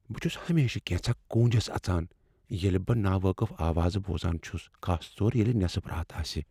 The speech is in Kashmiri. بہٕ چھس ہمیشہٕ كینژھا كوٗنجس اژان ییلہ بہٕ ناوٲقف آوازٕ بوزان چھس، خاص طور ییلِہ نٮ۪صف رات آسہ۔